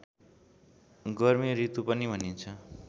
गर्मीऋतु पनि भनिन्छ